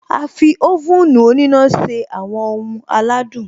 A fi oven òníná se àwọn ohun aládùn